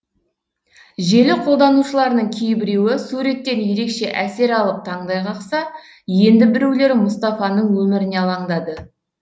желі қолданушыларының кейбіреуі суреттен ерекше әсер алып таңдай қақса енді біреулері мұстафаның өміріне алаңдады